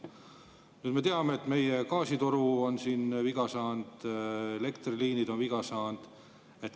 Nüüd me teame, et meie gaasitoru on viga saanud, elektriliinid on viga saanud.